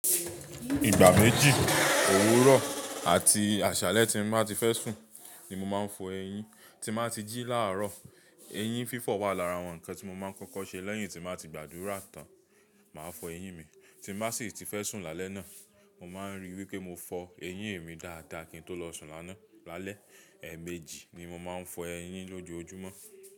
Ìgbà méjì, òwúrọ̀ àti àṣálẹ́ tí màá ti fẹ́ sùn ni mo máa ń fọ eyín. Tí màá ti jí láàárọ̀, eyín fífọ̀ wà lára àwọn ǹkan tí mo máa ń kọ́kọ́ ṣe lẹ́yìn tí màá ti gbàdúrà tán. Màá fọ eyín mi, tí màá sì ti fẹ́ sùn lálẹ́ náà. Mo máa ń ríi wípé mo fọ eyín mi dáadáa kí n tó lọ sùn lánàá. Lálẹ́, ẹ̀ẹ̀méjì ni mo máa ń fọ eyín lójoojúmọ́.